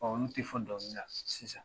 Ɔ olu tɛ fɔ dɔnkili na sisan